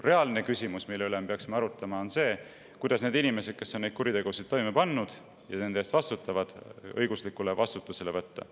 Reaalne küsimus, mille üle me peaksime arutlema, on see, kuidas saaks need inimesed, kes on neid kuritegusid toime pannud ja nende eest vastutavad, õiguslikule vastutusele võtta.